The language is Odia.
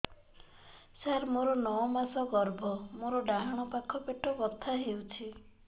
ସାର ମୋର ନଅ ମାସ ଗର୍ଭ ମୋର ଡାହାଣ ପାଖ ପେଟ ବଥା ହେଉଛି